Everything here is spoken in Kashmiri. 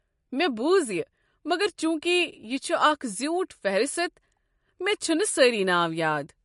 مےٚ بوٗز یہِ مگر چونکہ یہ چھُ اکھ زیوٗٹھ فہرست، مےٚ چھِنہٕ سٲری ناو یاد۔